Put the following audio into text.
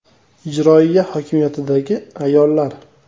Ijroiya hokimiyatidagi ayollar.